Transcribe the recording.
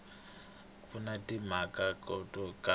ku na timhaka to karhi